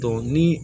ni